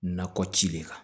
Nakɔ ci de kan